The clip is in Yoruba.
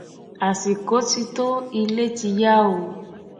àsìkò ti tó ilé ti yá o